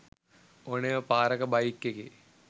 ඕනෙම පාරක බයික් එකේ